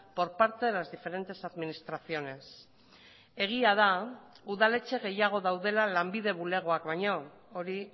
por parte de las diferentes administraciones egia da udaletxe gehiago daudela lanbide bulegoak baino hori